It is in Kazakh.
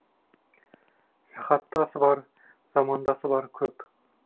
жахаттасы бар замандасы бар көп